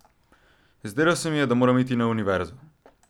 Zdelo se mi je, da moram iti na univerzo.